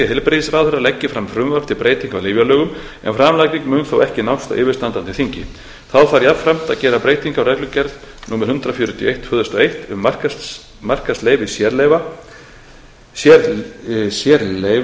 heilbrigðisráðherra leggi fram frumvarp til breytinga á lyfjalögum en framlagning mun þó ekki nást á yfirstandandi þingi þá þarf jafnframt að gera breytingu á reglugerð númer fjórtán sautján tvö þúsund og eitt um markaðsleyfi sérlyfja eða sérlyfja merkingar þeirra og